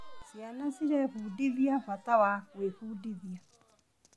Ciana cirebundithia bata wa gwĩbundithia.